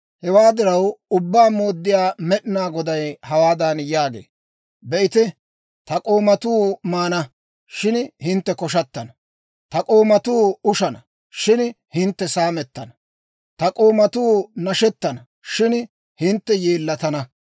Hewaa diraw, Ubbaa Mooddiyaa Med'inaa Goday hawaadan yaagee; «Be'ite, ta k'oomatuu maana; shin hintte koshshattana. Ta k'oomatuu ushana; shin hintte saamettana. Ta k'oomatuu nashettana; shin hintte yeellatana.